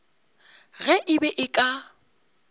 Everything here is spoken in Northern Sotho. ge e be e ka